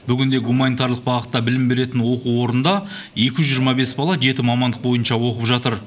бүгінде гуманитарлық бағытта білім беретін оқу орнында екі жүз жиырма бес бала жеті мамандық бойынша оқып жатыр